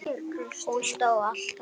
Hún stóð alltaf með mér.